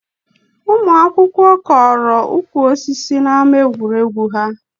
Ụmụ akwụkwọ kọrọ ukwu osisi n'ama egwuregwu ha